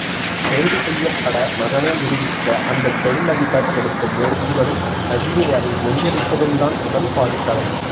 கைது செய்யப்பட மகனை விடுவிக்க அந்த தொழிலதிபர் எடுக்கும் முயற்சிகளும் ரஜினி அதை முறியடிப்பதும்தான் முதல் பாதி கதை